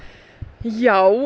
já